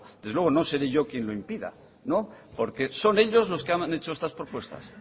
desde luego no seré yo quien lo impida no porque son ellos los que han hecho estas propuestas